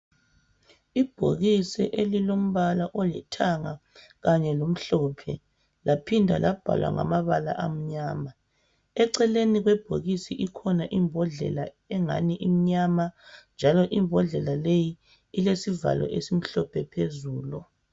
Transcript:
Ibhokisi elilombala olithanga kanye lomhlophe laphimda labhalwa ngamabala amnyama. Eceleni kwebhokisi ikhona imbodlela engani imnyama njalo imbodlela leyi ilesivalo esimhlophe phezulu.